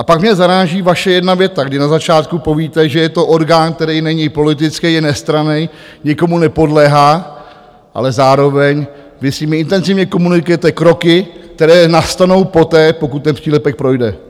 A pak mě zaráží vaše jedna věta, kdy na začátku povíte, že je to orgán, který není politický, je nestranný, nikomu nepodléhá, ale zároveň vy s nimi intenzivně komunikujete kroky, které nastanou poté, pokud ten přílepek projde.